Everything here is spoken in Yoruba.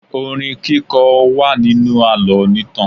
Orin kíkọ wà nínú àlọ́ onítàn.